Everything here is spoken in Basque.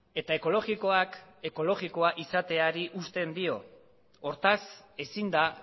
eta ekologikoak ekologikoa izateari uzten do hortaz ezin da